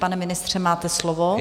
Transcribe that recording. Pane ministře, máte slovo.